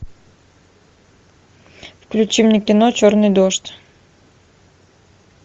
включи мне кино черный дождь